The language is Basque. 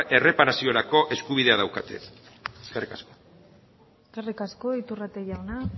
erreparaziorako eskubidea daukate eskerrik asko eskerrik asko iturrate jauna